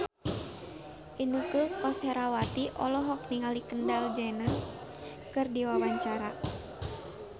Inneke Koesherawati olohok ningali Kendall Jenner keur diwawancara